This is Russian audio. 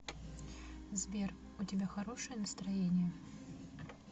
сбер у тебя хорошее настроение